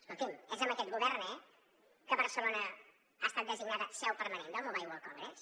escolti’m és amb aquest govern eh que barcelona ha estat designada seu permanent del mobile world congress